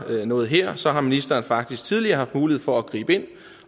noget her så har ministeren faktisk tidligere haft mulighed for at gribe ind